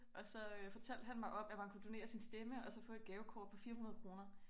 Og så øh fortalte han mig om at man kunne donere sin stemme og så få et gavekort på 400 kroner